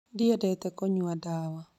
Ndiendete kũnyua ndawa